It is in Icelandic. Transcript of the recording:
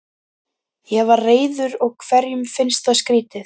Ég var reiður og hverjum finnst það skrýtið?